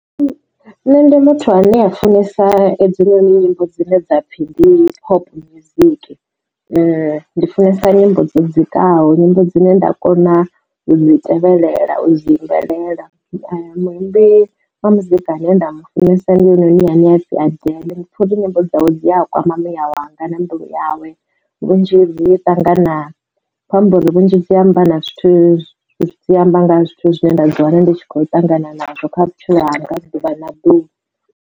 Nṋe ndi muthu ane a funesa hedzila nyimbo dzine dza pfhi ndi pop music. Ndi funesa nyimbo dzo dzikaho nyimbo dzine nda kona u dzi tevhelela u dzi imbelela muimbi wa muzika ane nda mu funesa ndi hoyu noni ane apfi Adele. Ndi pfha uri nyimbo dzawe dzi a kwama muya wanga na mbilu yawe vhunzhi zwi ṱangana kho amba uri vhunzhi dzi amba na zwithu zwi amba nga zwithu zwine nda ḓi wana ndi kho ṱangana nazwo kha vhutshilo hanga ha ḓuvha na ḓuvha.